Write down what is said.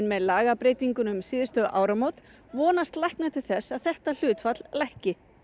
með lagabreytingunni um síðustu áramót vonast læknar til þess að þetta hlutfall lækki